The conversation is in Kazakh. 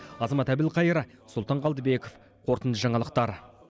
азамат әбілқайыр сұлтан қалдыбеков қорытынды жаңалықтар